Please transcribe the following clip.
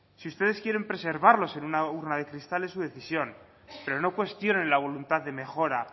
si ustedes quieren preservarlos en una urna de cristal es su decisión pero no cuestionen la voluntad de mejora